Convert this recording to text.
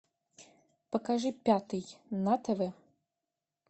покажи пятый на тв